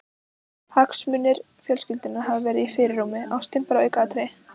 Hagsmunir fjölskyldunnar hafi verið í fyrirrúmi, ástin bara aukaatriði.